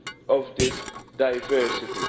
of this diversity.